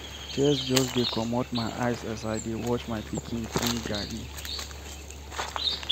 Tears just dey comot my eyes as I dey watch my pikin drink garri